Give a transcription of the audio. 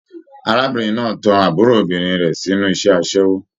Arábìnrin náà tán àbúrò obìnrin rẹ sínú iṣẹ asẹwo.